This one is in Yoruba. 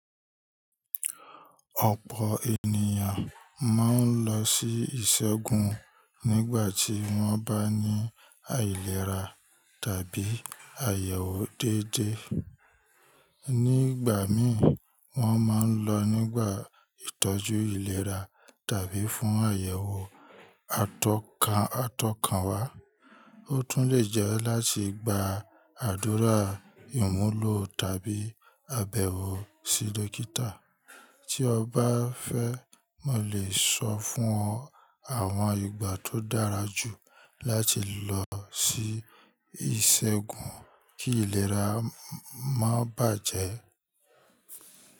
Ọ̀pọ̀ ènìyàn ma ń lọ sí ìṣègùn nígbà tí wọ́n bá ní àìlera tàbí àyẹ̀wò déédéé. Ní ìgbà mí, wọ́n ma ń lọ nígbà ìtọ́jú ìlera tàbí fún àyẹ̀wò atokan atọ́kànwá. Ó tún lè jẹ́ láti gba àdúrà ìmúlò tàbí àbẹ̀wò sí dókítà. Tí o bá fẹ́, mo lè sọ fún ọ àwọn ìgbà tó dára jù láti lọ sí ìṣègùn kí ìlera má bàjẹ́.